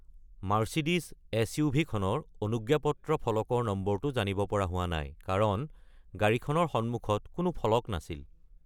Mercedes এছ.ইউ.ভি.-খনৰ অনুজ্ঞাপত্ৰ ফলকৰ নম্বৰটো জানিব পৰা হোৱা নাই কাৰণ গাড়ীখনৰ সন্মুখত কোনো ফলক নাছিল।